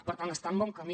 per tant està en bon camí